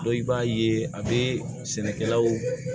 i b'a ye a bɛ sɛnɛkɛlaw